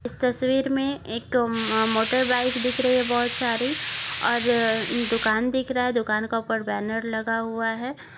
तस्वीर में एक म मोटर बाइक दिख रही है बहुत सारी और अ दुकान दिख रहा है दुकान का ऊपर बैनर लगा हुआ है।